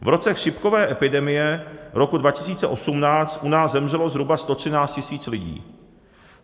V roce chřipkové epidemie roku 2018 u nás zemřelo zhruba 113 000 lidí.